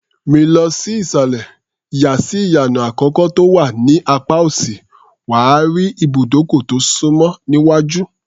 Rìn lọ sí ìsàlẹ̀, yà sí ìyànà àkọ́kọ́ tó wà ní apá òsì, wà á rí ibùdókọ̀ tó súnmọ́ níwájú.